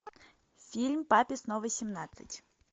фильм папе снова семнадцать